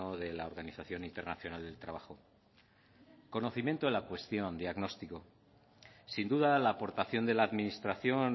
de la organización internacional del trabajo conocimiento de la cuestión diagnóstico sin duda la aportación de la administración